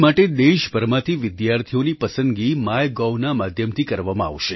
દિલ્લી માટે દેશભરમાંથી વિદ્યાર્થીઓની પસંદગી માય Govના માધ્યમથી કરવામાં આવશે